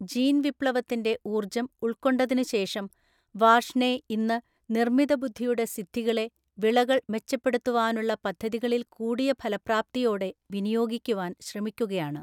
ജീൻവിപ്ലവത്തിൻ്റെ ഊർജ്ജം ഉൾക്കൊണ്ടതിനുശേഷം വാർഷ്ണേ ഇന്ന്, നിർമിതബുദ്ധിയുടെ സിദ്ധികളെ വിളകൾ മെച്ചപ്പെടുത്തുവാനുള്ള പദ്ധതികളിൽ കൂടിയ ഫലപ്രാപ്തിയോടെ വിനിയോഗിക്കുവാൻ ശ്രമിക്കുകയാണ്.